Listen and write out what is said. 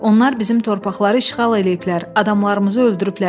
Onlar bizim torpaqları işğal eləyiblər, adamlarımızı öldürüblər.